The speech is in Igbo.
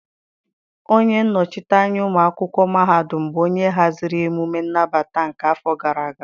Onye nnọchite anya ụmụ akwụkwọ mahadum bụ onye haziri emume nnabata nke afọ gara aga.